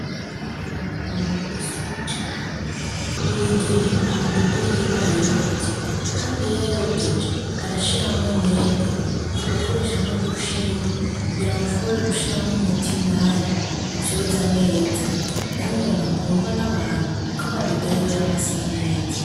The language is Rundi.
Amina numuntu wisuku cane buri igihe amabido yiwe arayoza kandi iyo ayageje arashiramwo umwete agakoresha nudushinge kugira ngo ashobore gushiramwo umuti indani uvyoza neza yari umuntu akundwa nabantu kuko amabido yiwe yama asa neza